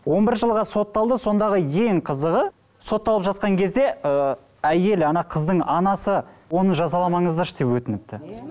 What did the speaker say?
он бір жылға сотталды сондағы ең қызығы сотталып жатқан кезде ы әйелі ана қыздың анасы оны жазаламаңыздаршы деп өтініпті